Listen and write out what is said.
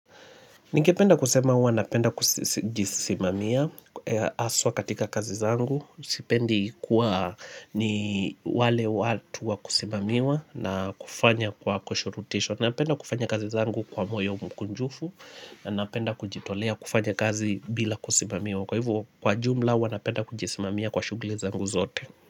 Ningependa kusema huwa napenda kujisimamia aswa katika kazi zangu. Sipendi kuwa ni wale watu wakusimamiwa na kufanya kwa kushurutishwa. Napenda kufanya kazi zangu kwa moyo mkunjufu na napenda kujitolea kufanya kazi bila kusimamiwa. Kwa hivo kwa jumla huwa napenda kujisimamia kwa shugli zangu zote.